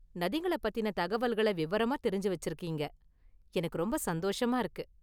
நதிங்கள பத்தின தகவல்கள விவரமா தெரிஞ்சு வச்சிருக்கிறீங்க, எனக்கு ரொம்ப​ சந்தோஷமா​ இருக்கு.